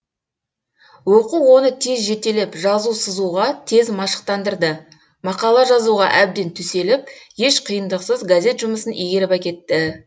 оқу оны тез жетелеп жазу сызуға тез машықтандырды мақала жазуға әбден төселіп еш қиындықсыз газет жұмысын игеріп әкетті